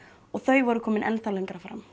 og þau voru komin enn þá lengra fram